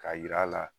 Ka yira a la